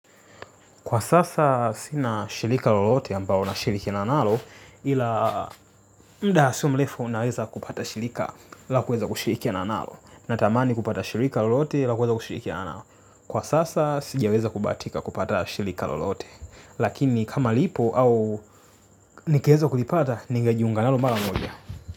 Kwa sasa sina shirika lolote ambao na shirikiana nalo ila muda sio mrefu naweza kupata shirika la kuweza kushirikia nalo. Natamani kupata shirika lolote la kuweza kushirikiana nalo. Kwa sasa sijaweza kubahatika kupata shirika lolote. Lakini kama lipo au nikaweza kulipata ningejiunga nalo mara moja.